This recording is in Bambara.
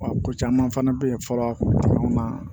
Wa ko caman fana bɛ yen fɔlɔ maa